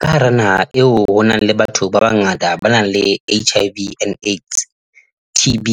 Ka hara naha eo ho nang le batho ba bangata ba nang le HIV and AIDS, TB,